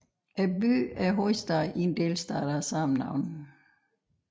Byen er hovedstad i en delstat af samme navn